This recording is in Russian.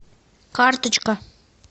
карточка